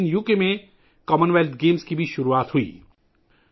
اسی دن برطانیہ میں کامن ویلتھ گیمز کا آغاز بھی ہوا